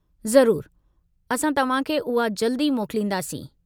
ज़रूरु, असां तव्हां खे उहा जल्द ई मोकलींदासीं।